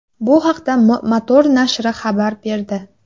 Bu haqda Motor nashri xabar berdi .